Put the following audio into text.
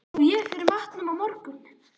Á ég fyrir matnum á morgun?